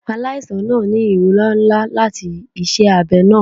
Alaisan naa ni irora nla lati iṣẹ abẹ naa